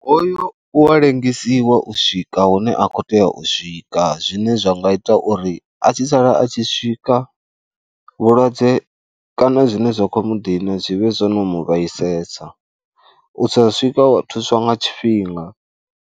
O yo wa lengesiwa u swika hune a khou tea u swika zwine zwa nga ita uri a tshi sala a tshi swika vhulwadze kana zwine zwa khou mu dina zwi vhe zwo no mu vhaisalesa, u a swika wa thuswa nga tshifhinga.